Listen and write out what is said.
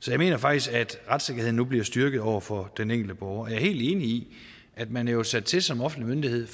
så jeg mener faktisk at retssikkerheden nu bliver styrket over for den enkelte borger helt enig i at man jo er sat til som offentlig myndighed